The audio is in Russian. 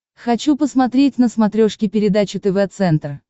хочу посмотреть на смотрешке передачу тв центр